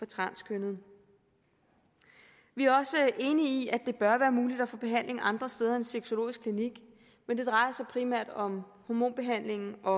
transkønnede vi er også enige i at det bør være muligt at få behandling andre steder end på sexologisk klinik men det drejer sig primært om hormonbehandlingen og